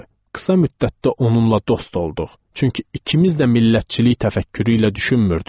Qısa müddətdə onunla dost olduq, çünki ikimiz də millətçilik təfəkkürü ilə düşünmürdük.